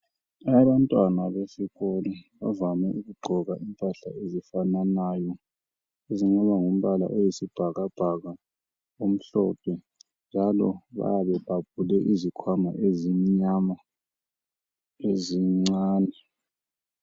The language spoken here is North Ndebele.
Abantwana besikolo bavame ukugqoka impahla ezifananayo ezingaba ngumbala oyisibhakabhaka, omhlophe, njalo bayabe bebhabhule izikhwama ezimnyama, ezincane.